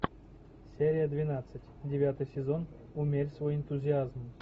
серия двенадцать девятый сезон умерь свой энтузиазм